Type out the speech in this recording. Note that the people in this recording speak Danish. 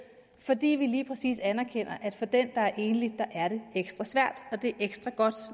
fordi vi lige præcis anerkender at for dem der er enlige er det ekstra svært og det er ekstra godt